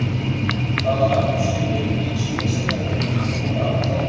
Hvaða amínósýrur eru lífsnauðsynlegar fyrir líkamann og af hverju?